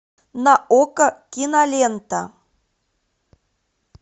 на окко кинолента